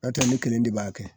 Ɔtɛ ne kelen de b'a kɛ